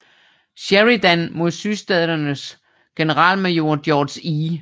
Sheridan mod sydstaternes generalmajor George E